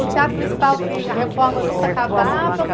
O Teatro Municipal, que a reforma nunca acabava.